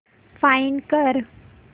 find कर